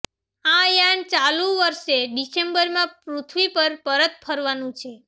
આ યાન ચાલુ વર્ષે ડિસેમ્બરમાં પૃથ્વી પર પરત ફરવાનું છે